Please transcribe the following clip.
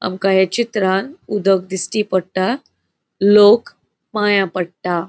आमका ये चित्रान उदक दिस्टी पट्टा. लोक पाया पट्टा.